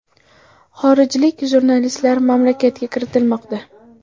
Xorijlik jurnalistlar mamlakatga kiritilmoqda.